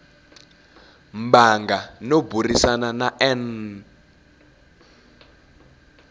mbango no burisana na n